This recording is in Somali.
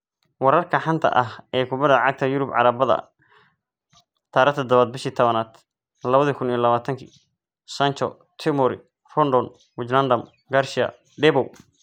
Wararka xanta ah ee kubada cagta yurub Arbacada 07.10.2020: Sancho, Tomori, Rodon, WIJNADUM, Garcia, Deboow